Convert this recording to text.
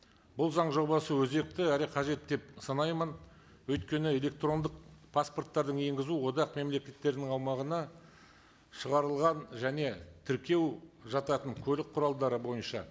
бұл заң жобасы өзекті әрі қажетті деп санаймын өйткені электрондық паспорттарды енгізу одақ мемлекеттерінің аумағына шығарылған және тәркеу жататын көлік құралдары бойынша